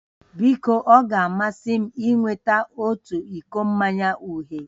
Biko ọ ga-amasị m ịnweta otu iko mmanya uhie